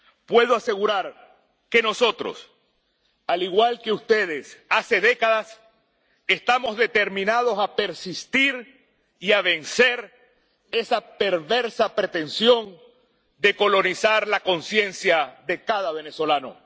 Puedo asegurar que nosotros, al igual que ustedes hace décadas, estamos determinados a persistir y a vencer esa perversa pretensión de colonizar la conciencia de cada venezolano.